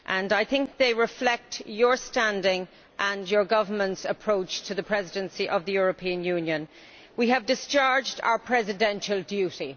I think they reflect his standing and his government's approach to the Presidency of the European Union We have discharged our presidential duty'.